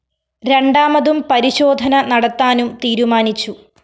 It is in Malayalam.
രണ്ടാമതും പരിശോധന നടത്താനും തീരുമാനിച്ചു